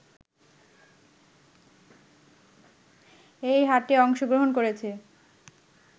এ হাটে অংশগ্রহণ করেছে